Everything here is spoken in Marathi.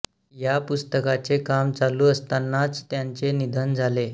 या पुस्तकाचे काम चालू असतानाच त्यांचे निधन झाले